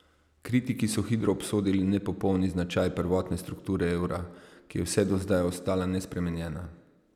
Kritiki so hitro obsodili nepopolni značaj prvotne strukture evra, ki je vse do zdaj ostala nespremenjena.